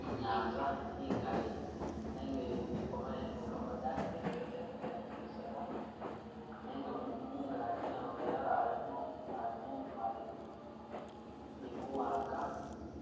Inyanza ingali nenga iliko mayengo madambi gali ganigisaga nenga mungaji namufeli alimo alimo umumali ni buwanga